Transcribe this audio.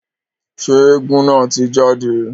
Ṣe éégún naa ti jade?